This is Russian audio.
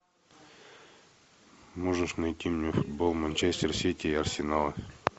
можешь найти мне футбол манчестер сити и арсенала